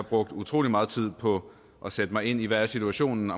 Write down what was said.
brugt utrolig meget tid på at sætte mig ind i hvad situationen